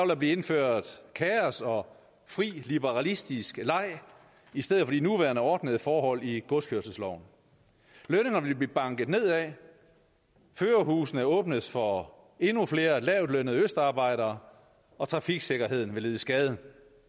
der blive indført kaos og fri liberalistisk leg i stedet for de nuværende ordnede forhold i godskørselsloven lønningerne vil blive banket nedad førerhusene åbnes for endnu flere lavtlønnede østarbejdere og trafiksikkerheden vil lide skade